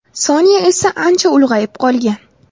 Sonya esa ancha ulg‘ayib qolgan.